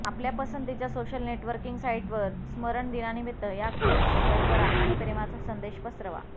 आपल्या पसंतीच्या social networking साइटवर स्मरण दिनानिमित्त या कोट्स शेअर करा आणि प्रेमाचा संदेश पसरवा